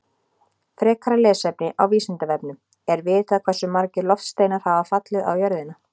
Frekara lesefni á Vísindavefnum: Er vitað hversu margir loftsteinar hafa fallið á jörðina?